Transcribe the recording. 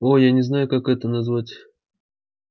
о я не знаю как это назвать